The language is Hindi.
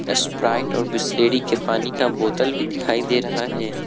स्प्राइट और बिसलेरी के पानी का बोतल भी दिखाई दे रहा है।